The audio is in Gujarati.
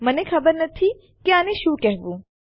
મને ખબર નથી કે આને શું કહેવું